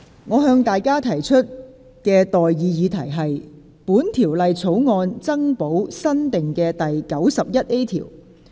我現在向各位提出的待議議題是：本條例草案增補新訂的第 91A 條。